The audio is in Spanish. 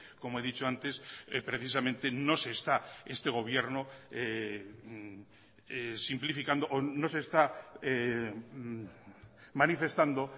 como he dicho antes precisamente no se está este gobierno simplificando o no se está manifestando